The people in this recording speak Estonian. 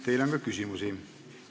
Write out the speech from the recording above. Teile on ka küsimusi.